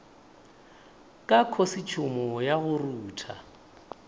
ka khosetšhumo ya go rutha